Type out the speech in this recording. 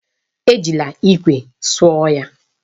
Ejila ikwe suo ya.